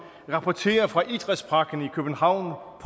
rapportere fra idrætsparken i københavn